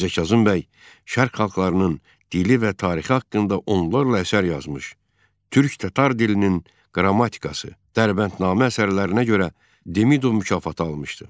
Mirzə Kazım bəy şərq xalqlarının dili və tarixi haqqında onlarla əsər yazmış, Türk tatar dilinin qrammatikası, Dərbəndnamə əsərlərinə görə Demidov mükafatı almışdı.